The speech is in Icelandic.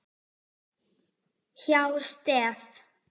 hjá STEF.